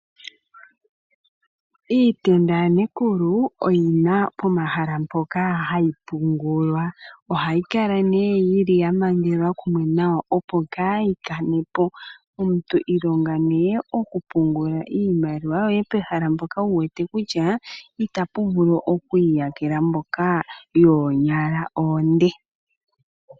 Iitenda yaNekulu oyi na pomahala mpoka hayi pungulwa . Ohayi kala nduno yamangelwa kumwe nawa opo ka yi kanepo . Omuntu okwa pumbwa oku ilonga okupungula iimaliwa ye pehala mpoka e wete kutya ita pu vulu okwiiyakela mboka yoonyala oonde .